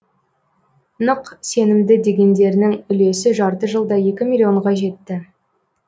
нық сенімді дегендерінің үлесі жарты жылда екі миллионға жетті